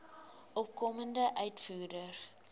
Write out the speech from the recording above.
opkomende uitvoerders